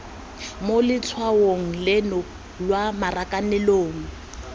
mo letshwaong leno lwa marakanelong